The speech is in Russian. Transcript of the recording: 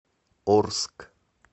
орск